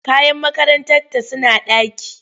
Kayan makarantata suna ɗaki.